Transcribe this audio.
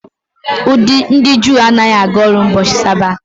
Ndị Juu anaghị aga ọrụ n'ubochi sabati.